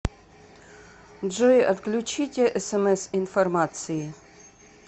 джой отключите смс информации